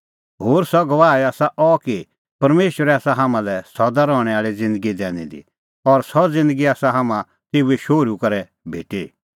होर सह गवाही आसा अह कि परमेशरै आसा हाम्हां लै सदा रहणैं आल़ी ज़िन्दगी दैनी दी और सह ज़िन्दगी आसा हाम्हां तेऊए शोहरू करै भेटी